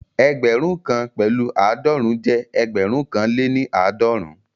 Ẹgbẹ̀rún kan pẹ̀lu aadọrun jẹ́ ẹgbẹ̀rún kan lè ní aadọrun